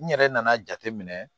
N yɛrɛ nana jateminɛ